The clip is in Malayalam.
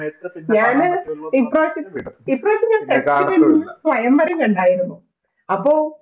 ഞാൻ ഈ പ്രാവശ്യം സ്വയംവരം കണ്ടായിരുന്നു അപ്പോ